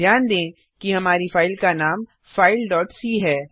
ध्यान दें कि हमारी फाइल का नाम fileसी है